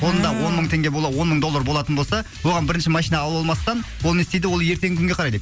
қолында он мың теңге бола он мың доллар болатын болса оған бірінші машина алып алмастан ол не істейді ол ертеңгі күнге қарайды